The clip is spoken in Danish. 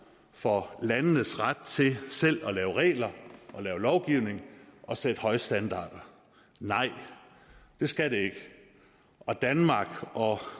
for landenes ret til selv at lave regler og lave lovgivning og sætte højere standarder nej det skal det ikke og danmark og